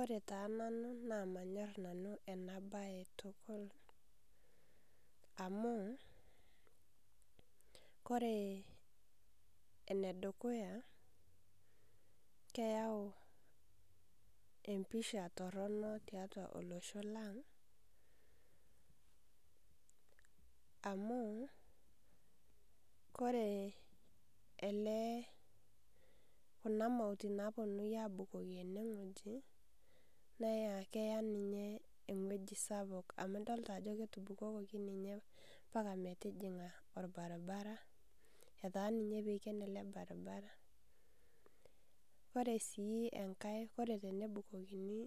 Ore taa nanu namanyor enabae tukul amu ore enedukuya keyau empisha toronok tiatua olosho lang amu ore kuna mautinapoi neya keya ninye ewoi esapuk amu idol ajo etubukoki ninye mpaka metijinga orbaribara etaa ninye piken ele baribara ore si enkae ore tenebukokini